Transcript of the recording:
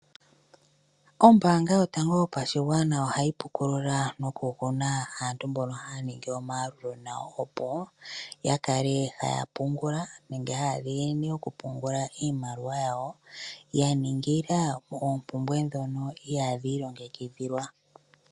Ombaanga yotango yopashigwana ohayi pukulula noguna aantu mboka haya ningi omayalulo nayo, opo ya kale haya pungula nenge haya dhiginine okupungula iimaliwa yawo ya ningila oompumbwe ndhono ihaadhi ilongekidhilwa.